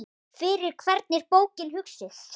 Fyrir hvern er bókin hugsuð?